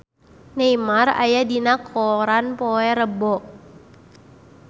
Neymar aya dina koran poe Rebo